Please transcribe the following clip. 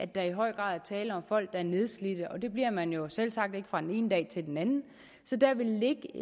der i høj grad er tale om folk der er nedslidte og det bliver man jo selvsagt ikke fra den ene dag til den anden så der vil ligge